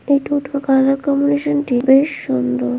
এই টোটোর colour combination -টি বেশ সুন্দর ।